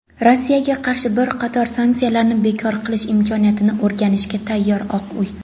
Rossiyaga qarshi bir qator sanksiyalarni bekor qilish imkoniyatini o‘rganishga tayyor – "Oq uy".